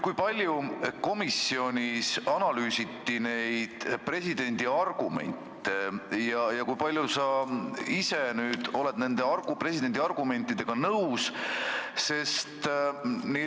Kui palju komisjonis analüüsiti presidendi argumente ja kui palju sa ise nende presidendi argumentidega nõus oled?